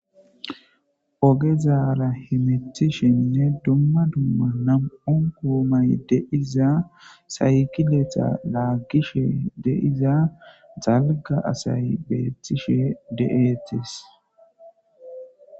ogezaara hemethishenne dumma dumma nam7on guumay deiza saykiletha laaggishe deiza zalga asay beetishe de7eetis